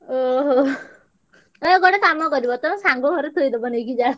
ଓହୋ, କାଇଁ ଗୋଟେ କାମ କରିବ ତମ ସାଙ୍ଗ ଘରେ ଥୋଇଦବ ନେଇକି ଜାଳ।